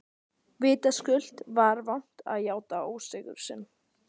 Vitaskuld var vont að játa ósigur sinn.